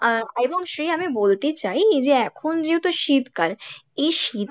আহ এবং শ্রেয়া আমি বলতে চাই যে এখন যেহেতু শীতকাল এই শীত